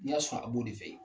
Ni y'a sɔrɔ a b'o de fɛ yen.